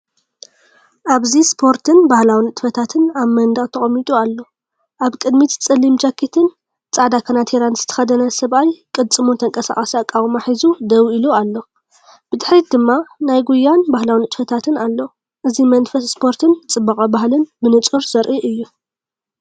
ኣብዚ ስፖርትን ባህላዊ ንጥፈታትን ኣብ መንደቕ ተቐሚጡ ኣሎ። ኣብ ቅድሚት ጸሊም ጃኬትን ጻዕዳ ካናቲራ ዝተኸድነ ሰብኣይ ቅልጽሙ ተንቀሳቓሲ ኣቃውማ ሒዙ ደው ኢሉ ኣሎ። ብድሕሪት ድማ ናይ ጉያን ባህላዊ ንጥፈታትን ኣሎ። እዚ መንፈስ ስፖርትን ጽባቐ ባህልን ብንጹር ዘርኢ እዩ።